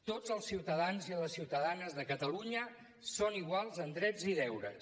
tots els ciutadans i les ciutadanes de catalunya són iguals en drets i deures